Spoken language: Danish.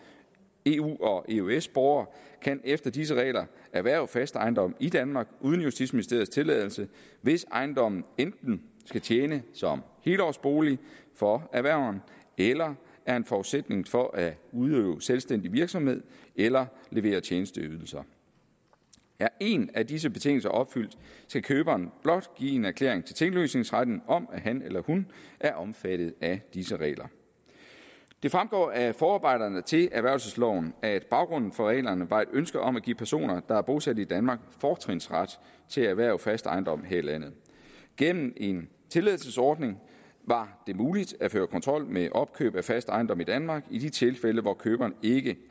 eu og eøs borgere kan efter disse regler erhverve fast ejendom i danmark uden justitsministeriets tilladelse hvis ejendommen enten skal tjene som helårsbolig for erhververen eller er en forudsætning for at udøve selvstændig virksomhed eller levere tjenesteydelser er en af disse betingelser opfyldt skal køberen blot give en erklæring til tinglysningsretten om at han eller hun er omfattet af disse regler det fremgår af forarbejderne til erhvervelsesloven at baggrunden for reglerne var et ønske om at give personer der er bosat i danmark fortrinsret til at erhverve fast ejendom her i landet gennem en tilladelsesordning var det muligt at føre kontrol med opkøb af fast ejendom i danmark i de tilfælde hvor køberen ikke